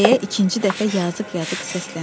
deyə ikinci dəfə yazıq-yazıq səsləndi.